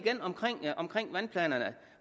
om vandplanerne